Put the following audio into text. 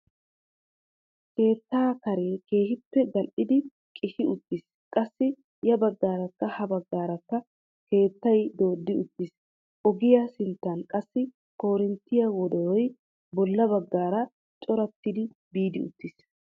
Keettaa karee keehippe gal"idi qishi uttiis qassi ya baggaarakka ha baggaarakka keettay dooddi uttiis. ogiyaa sinttan qassi korinttiyaa wodoroy bolla baggaara corattidi biidi uttiis.